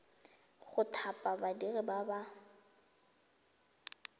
go thapa badiri ba ba